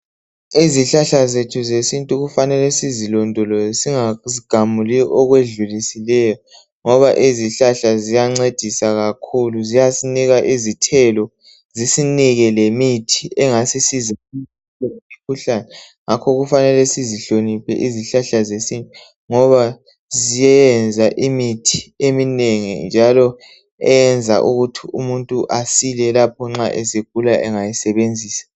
Izihlahla zethu zesintu okufanele sizilondoloze singazigamuli okwedlulisileyo ngoba izihlahla ziyancedisa kakhulu. Ziyasinika izithelo zisinike lemithi engasisiza ukwelapha imikhuhlane ngakho kufanele sizihloniphe izihlahla zesintu. Ziyenza imithi eminengi njalo eyenza ukuthi umuntu asile lapho esegula engayisebenzisa.